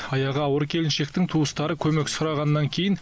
аяғы ауыр келіншектің туыстары көмек сұрағаннан кейін